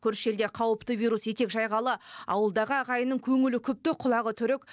көрші елде қауіпті вирус етек жайғалы ауылдағы ағайынның көңілі күпті құлағы түрік